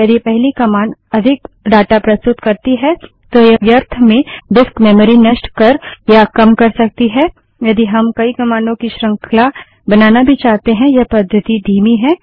यदि पहली कमांड अधिक डाटा प्रस्तुत करती है तो यह व्यर्थ में डिस्क मेमरी नष्ट कर या कम कर सकती है यदि हम कई कमांडों की श्रृंखला बनाना भी चाहते हैं यह पद्धति धीमी है